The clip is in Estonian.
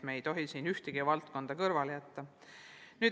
Me ei tohi siin ühtegi valdkonda kõrvale jätta.